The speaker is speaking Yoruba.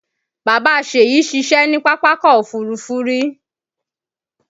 Bàbá Ṣèyí ṣiṣẹ́ ní Pápákọ̀ Òfurufú rí